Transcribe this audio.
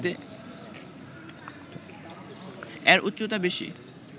এর উচ্চতা বেশি